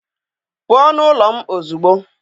pụọ nụ ụlọ m ozugbo!